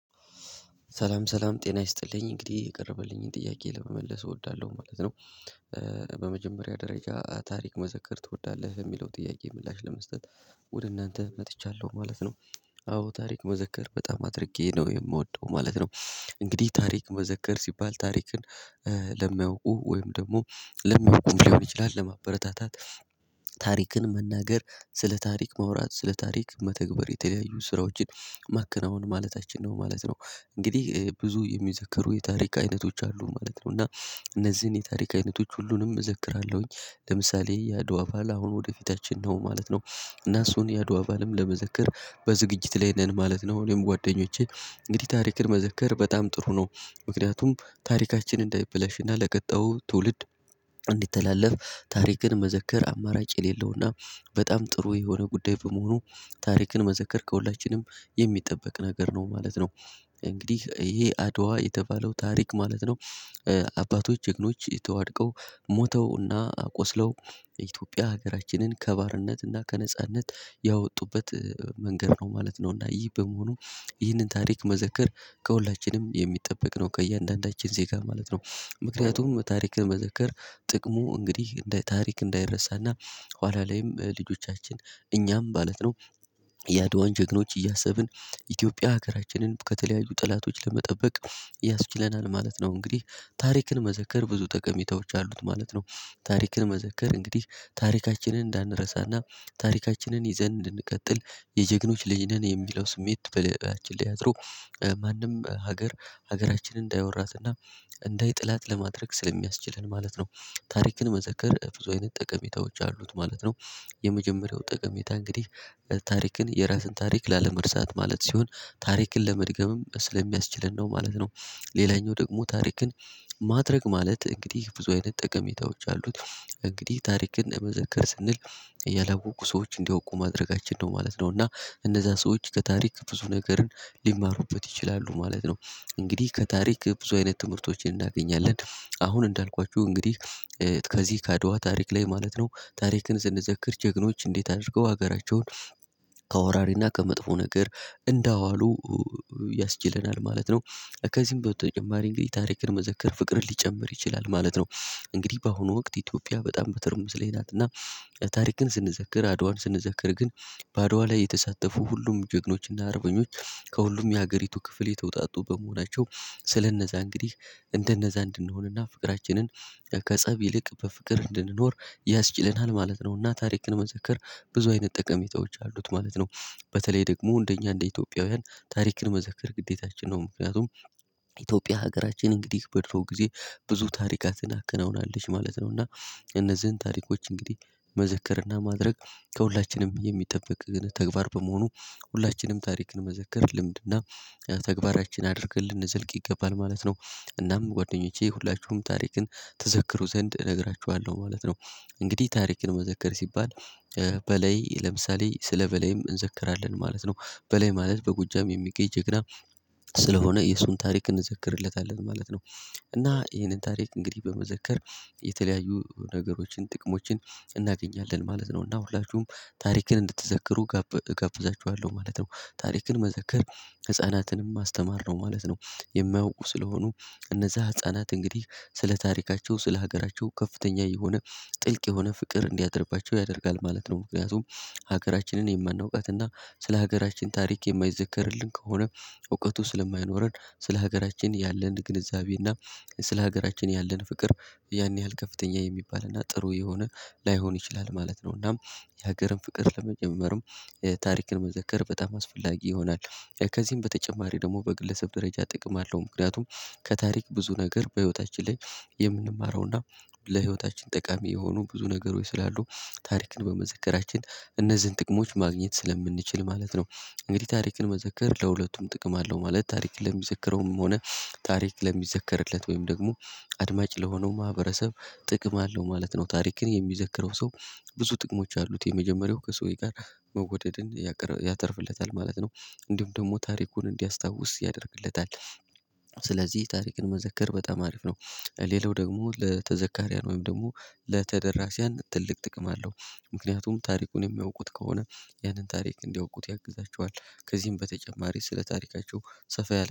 ሰላም ሰላም ጤና ይስጥልኝ እንግዲህ የቀረበልኝን ጥያቄ ለመመለስ እወዳለሁ ማለት ነው። በመጀመሪያ ደረጃ ታሪክ መዘከር ትወዳለህ የሚለው ጥያቄ ምላሽ ለመስጠት። ወደ እናንተ መጥቻለሁ ማለት ነው። አዎ ታሪክ መዘከር በጣም አድርጌ ነው የምወደው ማለት ነው። እንግዲህ ታሪክ መዘከር ሲባል ታሪክን ለሚያውቁ ወይም ደግሞ ለማያውቁም ሊሆን ይችላል ለማበረታታት። ታሪክን መናገር ስለ ታሪክ ማውራት ስለ ታሪክ መተግበር የተለያዩ ስራዎችን ማከናወን ማለታችን ነው ማለት ነው። እንግዲህ ብዙ የሚዘከሩ የታሪክ አይነቶች አሉ ማለት ነው። እና እነዚህን የታሪክ አይነቶች ሁሉንም እዘክራለሁኝ ለምሳሌ ያድዋ በዓል አሁን ወደፊታችን ነው ማለት ነው። እና እሱን ያድዋ በዓልም ለመዘክር በዝግጅት ላይ ነን ማለት ነው። እኔም ጓደኞቼ እንግዲህ ታሪክን መዘከር በጣም ጥሩ ነው። ምክንያቱም ታሪካችን እንዳይበለሽና ለቀጣዩ ትውልድ እንዲተላለፍ ታሪክን መዘከር አማራጭ የሌለውና በጣም ጥሩ የሆነ ጉዳይ በመሆኑ ታሪክን መዘከር ከሁላችንም የሚጠበቅ ነገር ነው ማለት ነው። እንግዲህ ይሄ አድዋ የተባለው ታሪክ ማለት ነው። አባቶች ጀግኖች ተዋድቀው ሞተውና ቆስለው የኢትዮጵያ ሀገራችንን ከባርነት እና ከነጻነት ያወጡበት መንገድ ነው ማለት ነው። እና ይህ በመሆኑ ይህንን ታሪክ መዘከር ከሁላችንም የሚጠበቅ ነው ከእያንዳንዳችን ዜጋ ማለት ነው። ምክንያቱም ታሪክን መዘከር ጥቅሙ እንግዲህ ታሪክ እንዳይረሳና ኋላ ላይም ልጆቻችን እኛም ማለት ነው የአድዋን ጀግኖች እያሰብን ኢትዮጵያ ሀገራችንን ከተለያዩ ጠላቶች ለመጠበቅ ያስችለናል ማለት ነው። እንግዲህ ታሪክን መዘከር ብዙ ጠቀሜታዎች አሉት ማለት ነው። ታሪክን መዘከር እንግዲህ ታሪካችንን እንዳንረሳና ታሪካችንን ይዘን እንድንቀጥል የጀግኖች ልጅ ነን የሚለው ስሜት በልብችን ላይ አድሮ ማንም ሀገር ሀገራችንን እንዳይወራትና እንዳይጥላት ለማድረግ ስለሚያስችለን ማለት ነው። ታሪክን መዘከር ብዙ አይነት ጠቀሜታዎች አሉት ማለት ነው። የመጀመሪያው ጠቀሜታ እንግዲህ ታሪክን የራስን ታሪክ ላለመርሳት ማለት ሲሆን ታሪክን ለመድገምም ስለሚያስችለን ነው ማለት ነው። ሌላኛው ደግሞ ታሪክን ማድረግ ማለት እንግዲህ ብዙ አይነት ጠቀሜታዎች አሉት እንግዲህ ታሪክን መዘክር ስንል ያላወቁ ሰዎች እንዲያውቁ ማድረጋችን ነው ማለት ነው። እና እነዛ ሰዎች ከታሪክ ብዙ ነገርን ሊማሩበት ይችላሉ ማለት ነው። እንግዲህ ከታሪክ ብዙ አይነት ትምህርቶችን እናገኛለን አሁን እንዳልኳችሁ እንግዲህ ከዚህ ካድዋ ታሪክ ላይ ማለት ነው ታሪክን ስንዘክር ጀግኖች እንዴት አድርገው ሀገራቸውን ከወራሪና ከመጥፎ ነገር እንዳዋሉ ያስችለናል ማለት ነው። ከዚህም በተጨማሪ እንግዲህ ታሪክን መዘከር ፍቅርን ሊጨምር ይችላል ማለት ነው። እንግዲህ በአሁኑ ወቅት ኢትዮጵያ በጣም በትርምስ ላይ ናት። እና ታሪክን ስንዘከር አድዋን ስንዘከር ግን በአድዋ ላይ የተሳተፉ ሁሉም ጀግኖች እና አርበኞች ከሁሉም የሀገሪቱ ክፍል የተወጣጡ በመሆናቸው ስለነዛ እንግዲህ እንደነዛ እንድንሆንና ፍቅራችንን ከፀብ ይልቅ በፍቅር እንድንኖር ያስችለናል ማለት ነውና ታሪክን መዘክር ብዙ አይነት ጠቀሜታች አሉት ማለት ነው። በተለይ ደግሞ እንደኛ እንደ ኢትዮጵያውያን ታሪክን መዘክር ግዴታችን ነው ምክንያቱም። ኢትዮጵያ ሀገራችን እንግዲህ በድሮ ጊዜ ብዙ ታሪክ አዘናከነውናለች ማለት ነው። እና እነዚህን ታሪኮች እንግዲህ መዘከርና ማድረግ ከሁላችንም የሚጠብቅ ግን ተግባር በመሆኑ ሁላችንም ታሪክን መዘከር ልምድና ተግባራችን አድርገን ልንዘልቅ ይገባል ማለት ነው። እናም ጓደኞቼ ሁላችሁም ታሪክን ትዘክሮ ዘንድ እነግራችኋለሁ ማለት ነው። እንግዲህ ታሪክን መዘከር ሲባል በላይ ለምሳሌ ስለ በላይም እንዘክራለን ማለት ነው። በላይ ማለት በጎጃም የሚገኝ ጀግና ስለሆነ የሱን ታሪክ እንዘክርለታለን ማለት ነው። እና ይሄንን ታሪክ እንግዲህ በመዘከር የተለያዩ ነገሮችን ጥቅሞችን እናገኛለን ማለት ነው። እና ሁላችሁም ታሪክን እንድትዘክሩ ጋብ እጋብዛችኋለሁ ማለት ነው። ታሪክን መዘክር ህፃናትንም ማስተማር ነው ማለት ነው። የማያውቁ ስለሆኑ እነዛ ህፃናት እንግዲህ ስለ ታሪካቸው ስለ ሀገራቸው ከፍተኛ የሆነ ጥልቅ የሆነ ፍቅር እንዲያድርባቸው ያደርጋል ማለት ነው። ምክንያቱም ሀገራችንን የማናውቃት እና ስለ ሀገራችን ታሪክ የማይዘከርልን ከሆነ እውቀቱ ስለማይኖረን ስለ ሀገራችን ያለን ግንዛቤ እና ስለ ሀገራችን ያለን ፍቅር ያን ያህል ከፍተኛ የሚባል እና ጥሩ የሆነ ላይሆን ይችላል ማለት ነው። እናም የሀገርን ፍቅር ለመጀመርም ታሪክን መዘከር በጣም አስፈላጊ ይሆናል። ከዚህም በተጨማሪ ደግሞ በግለሰብ ደረጃ ጥቅም አለው። ምክንያቱም ከታሪክ ብዙ ነገር በህይወታችን ላይ የምንማረውና ለህይወታችን ጠቃሚ የሆኑ ብዙ ነገሮች ስላሉ ታሪክን በመዘከራችን እነዚህን ጥቅሞች ማግኘት ስለምንችል ማለት ነው። እንግዲህ ታሪክን መዘከር ለሁለቱም ጥቅም አለው ማለት ታሪክን ለሚዘከረውም ሆነ ታሪክ ለሚዘከርለት ወይም ደግሞ አድማጭ ለሆነው ማህበረሰብ ጥቅም አለው ማለት ነው። ታሪክን የሚዘክረው ሰው ብዙ ጥቅሞች አሉት የመጀመሪያው ከሰውዬ ጋር መወደድን ያተርፍለታል ማለት ነው። እንዲሁም ደግሞ ታሪኩን እንዲያስታውስ ያደርግለታል። ስለዚህ ታሪክን መዘከር በጣም አሪፍ ነው። ሌላው ደግሞ ለተዘካርያን ወይም ደግሞ ለተደራሲያን ትልቅ ጥቅም አለው። ምክንያቱም ታሪኩን የሚያውቁት ከሆነ ያንን ታሪክ እንዲያውቁት ያግዛቸዋል ከዚህም በተጨማሪ ስለ ታሪካቸው ሰፋ ያለ